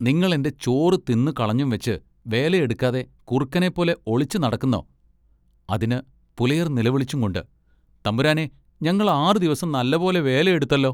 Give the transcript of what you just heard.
നിങ്ങൾ എന്റെ ചോറ് തിന്നുകളഞ്ഞുംവെച്ച് വേലയെടുക്കാതെ കുറുക്കനെപോലെ ഒളിച്ചു നടക്കുന്നൊ അതിന് പുലയർ നിലവിളിച്ചുംകൊണ്ട്‌ "തമ്പുരാനെ ഞങ്ങൾ ആറു ദിവസം നല്ല പോലെ വേലയെടുത്തല്ലൊ.